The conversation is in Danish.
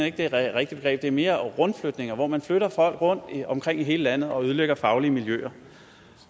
ikke det rigtige begreb det er mere rundflytninger hvor man flytter folk rundt omkring i hele landet og ødelægger faglige miljøer